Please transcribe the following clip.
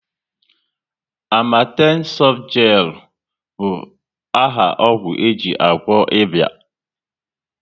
Amatem softgelu bụ áhà ọgwụ eji agwọ ịba